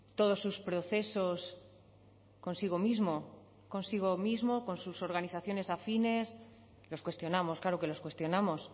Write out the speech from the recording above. todos sus procesos consigo mismo consigo mismo o con sus organizaciones afines los cuestionamos claro que les cuestionamos